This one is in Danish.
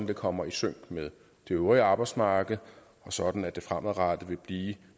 det kommer i sync med det øvrige arbejdsmarked og sådan at det fremadrettet vil blive